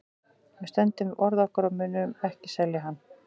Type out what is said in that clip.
Við stöndum við orð okkar og við munum ekki selja hann.